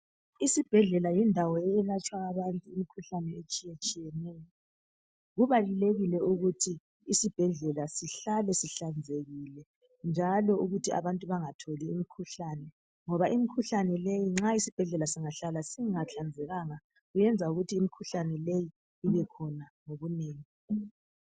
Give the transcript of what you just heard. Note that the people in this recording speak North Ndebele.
Isibhedlela yindawo okwelatshwa abantu imikhuhlane etshiyatshiyeneyo, kubalulekile ukuthi isibhedlela sihlale sihlanzekile njalo ukuthi abantu bangatholi imikhuhlane ngoba imikhuhlane leyi nxa isibhedlela singahlala singahlanzekanga kuyenza ukuthi imikhuhlane leyi ibekhona ngobunengi.